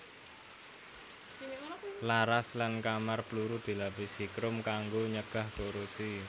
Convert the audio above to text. Laras lan kamar pluru dilapisi krom kanggo nyegah korosi